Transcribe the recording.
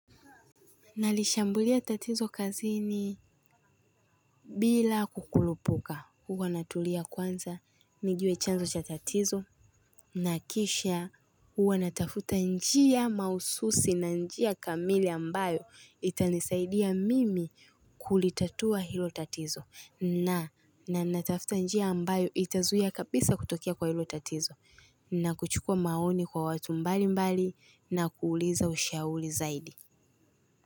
Nalishambulia tatizo kazini bila kukurupuka huwa natulia kwanza nijue chanzo cha tatizo na kisha huwa natafuta njia mahususi na njia kamili ambayo itanisaidia mimi kulitatua hilo tatizo na natafuta njia ambayo itazuia kabisa kutokea kwa hilo tatizo na kuchukua maoni kwa watu mbali mbali na kuuliza ushauri zaidi.